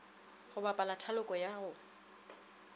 go bapala thaloko ya go